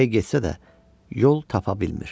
Hey getsə də, yol tapa bilmir.